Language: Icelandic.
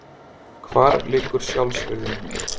Hvar liggur sjálfsvirðing mín?